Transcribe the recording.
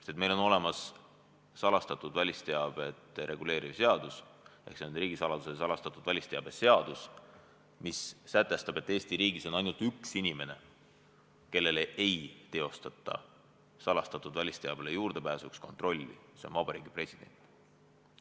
Sest meil on olemas salastatud välisteavet reguleeriv seadus, riigisaladuse ja salastatud välisteabe seadus, mis sätestab, et Eesti riigis on ainult üks, kellele ei teostata salastatud välisteabele juurdepääsuks kontrolli, see on Vabariigi President.